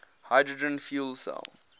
hydrogen fuel cell